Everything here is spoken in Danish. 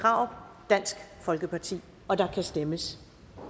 krarup dansk folkeparti og der kan stemmes